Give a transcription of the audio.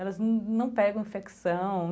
Elas não pegam infecção.